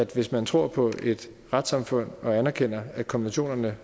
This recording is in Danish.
hvis man tror på et retssamfund og anerkender at konventionerne